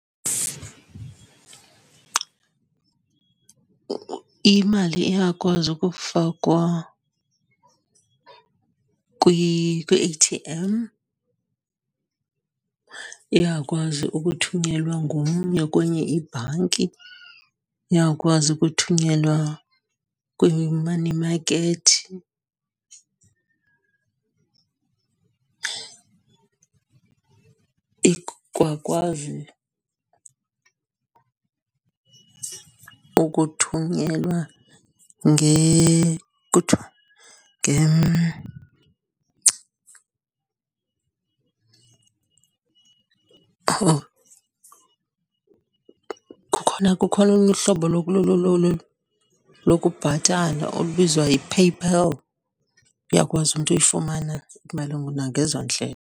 Imali iyakwazi ukufakwa kwi-A_T_M, iyakwazi ukuthunyelwa ngomnye kwenye ibhanki, iyakwazi ukuthunyelwa kwi-money market. Ikwakwazi ukuthunyelwa kuthiwa kukhona kukhona olunye uhlobo lokubhatala olubizwa yi-PayPal, uyakwazi umntu uyifumana imali nangezo ndlela.